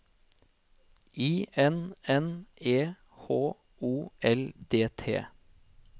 I N N E H O L D T